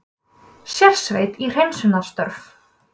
Sérsveit í hreinsunarstörf